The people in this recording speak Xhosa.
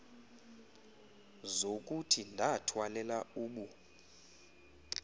zokuthi ndathwalela ubu